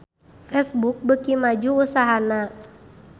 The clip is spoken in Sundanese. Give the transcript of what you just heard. Facebook beuki maju usahana